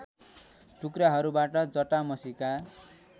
टुक्राहरूबाट जटामसीका